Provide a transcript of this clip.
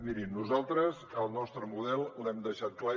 mirin nosaltres el nostre model l’hem deixat clar